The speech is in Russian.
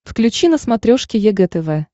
включи на смотрешке егэ тв